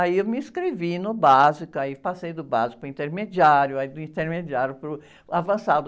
Aí eu me inscrevi no básico, aí, passei do básico para o intermediário, do intermediário para o avançado.